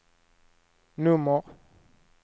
nummer